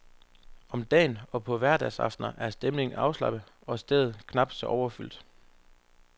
Om dagen og på hverdagsaftener er stemningen afslappet og stedet knap så overfyldt.